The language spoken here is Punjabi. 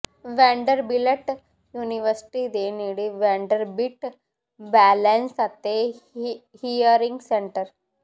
ਵੈਂਡਰਬਿਲਟ ਯੂਨੀਵਰਸਿਟੀ ਦੇ ਨੇੜੇ ਵੈਂਡਰਬਿੱਟ ਬੈਲੇਂਸ ਅਤੇ ਹੀਅਰਿੰਗ ਸੈਂਟਰ